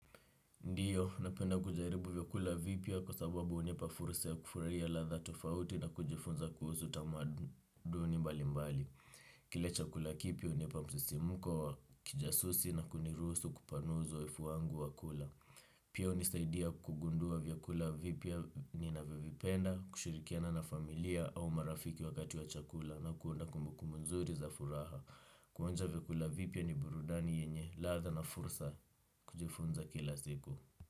Ndiyo, napenda kujaribu vyakula vipya kwa sababu unipa fursa ya kufurahia ladha tofauti na kujifunza kuhusu tamaduni mbalimbali. Kile chakula kipya unipa msisimko wa kijasusi na kuniruhusu kupanua uzoefu wangu wa kula. Pia unisaidia kugundua vyakula vipya ninavyovipenda, kushirikiana na familia au marafiki wakati wa chakula na kuunda kumbukumbu nzuri za furaha. Kuonja vyakula vipya ni burudani yenye ladha na fursa kujifunza kila siku.